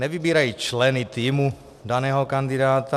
Nevybírají členy týmu daného kandidáta.